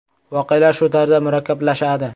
Voqealar shu tarzda murakkablashadi.